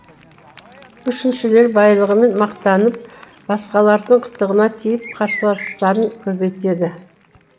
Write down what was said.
үшіншілері байлығымен мақтанып басқалардың қытығына тиіп қарсыластарын көбейтеді